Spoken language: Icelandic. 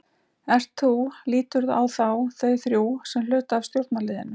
Ert þú, líturðu á þá, þau þrjú sem hluta af stjórnarliðinu?